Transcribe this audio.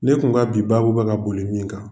Ne kun ka bi baabu bɛ ka boli min kan.